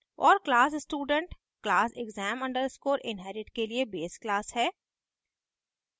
और class student class exam _ inherit के लिए base class है